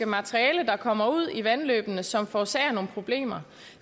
materiale der kommer ud i vandløbene som forårsager nogle problemer